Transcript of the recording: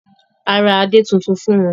A ra adè tuntun fún wọn.